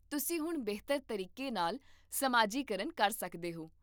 ਤੁਸੀਂ ਹੁਣ ਬਿਹਤਰ ਤਰੀਕੇ ਨਾਲ ਸਮਾਜੀਕਰਨ ਕਰ ਸਕਦੇ ਹੋ